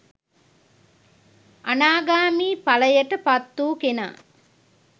අනාගාමී ඵලයට පත්වූ කෙනා